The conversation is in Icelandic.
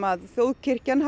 að þjóðkirkjan